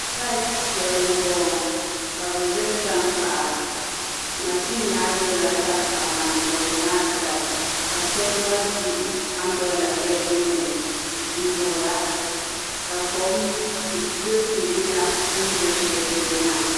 Saiht shɛli. n bɔ ŋɔ kabi gbiri tam kpaɣu. mazin maa gbiri la. tankpaɣu. maa. n soŋdi one said ka shab. gba zi ambilela. shɛli gbunni. n vuhira ka kom bilisi yina. bi.n gbiri shɛli pɔlomaa.